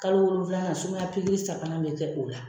Kalo wolonfilanan sumaya sabanan bɛ kɛ o la.